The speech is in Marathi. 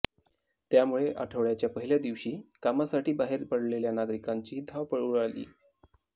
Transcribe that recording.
त्यामुळे आठवडयाच्या पहिल्या दिवशी कामासाठी बाहेर पडलेल्या नागरिकांची धावपळ उडाली